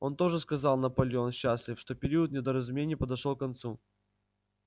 он тоже сказал наполеон счастлив что период недоразумений подошёл к концу